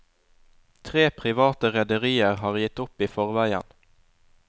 Tre private rederier har gitt opp i forveien.